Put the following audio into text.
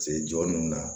Se jɔ ninnu na